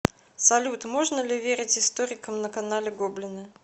салют можно ли верить историкам на канале гоблина